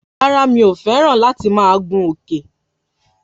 Rárá mi o fẹ́ràn láti máa gun Òkè